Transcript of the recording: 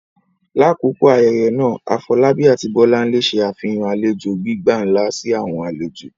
Lakoko ayẹyẹ naa, Afolabi ati Bolanle ṣe afihan alejo gbigba nla si awọn alejo.